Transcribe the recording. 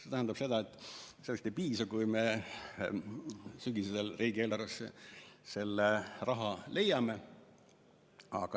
See tähendab seda, et sellest ei piisa, kui me sügisel riigieelarvesse selle raha leiame.